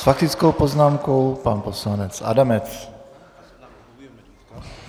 S faktickou poznámkou pan poslanec Adamec.